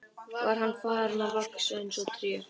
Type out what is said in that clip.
Var hann farinn að vaxa eins og trén?